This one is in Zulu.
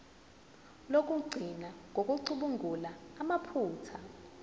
lokugcina ngokucubungula amaphutha